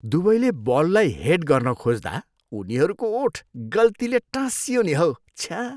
दुवैले बललाई हेड गर्न खोज्दा उनीहरूको ओठ गल्तीले टाँसियो नि हौ। छ्या!